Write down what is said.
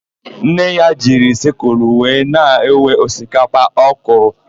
Nne ya jiri sịkụlụ wee na-ewe osikapa ọ kụrụ.